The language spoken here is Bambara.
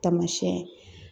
Tamasiyɛn